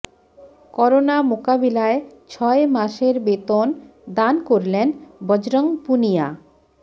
corona মোকাবিলায় ছয় মাসের বেতন দান করলেন বজরঙ্গ পুনিয়া